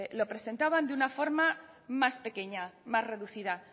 lo presentaban de una forma más pequeña más reducida